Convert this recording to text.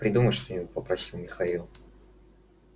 придумай что-нибудь попросил михаил